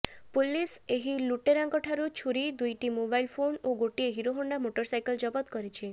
police ଏହି ଲୁଟେରାଙ୍କ ଠାରୁ ଛୁରୀ ଦୁଇଟି ମୋବାଇଲ ଫୋନ୍ ଓ ଗୋଟିଏ ହିରୋହଣ୍ଡା ମୋଟରସାଇକେଲ ଜବତ କରିଛି